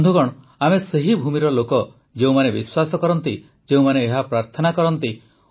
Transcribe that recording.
ବନ୍ଧୁଗଣ ଆମେ ସେହି ଭୂମିର ଲୋକ ଯେଉଁମାନେ ବିଶ୍ୱାସ କରନ୍ତି ଯେଉଁମାନେ ଏହା ପ୍ରାର୍ଥନା କରନ୍ତି